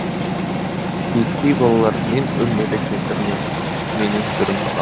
шиеттей балалар мен өлмелі кемпір менің түрім мынау